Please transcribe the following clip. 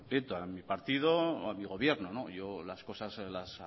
prieto a mi partido o a mi gobierno las cosas las